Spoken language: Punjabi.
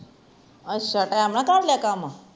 ਅੱਛਾ ਟੀਮ ਨਾਲ ਕਰ ਲਿਆ ਕਾਮ